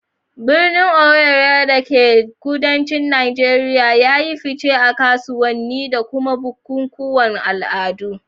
Birnin Owerri da ke kudancin Najeriya ya yi fice a kasuwanni da kuma bukukuwan al'adu.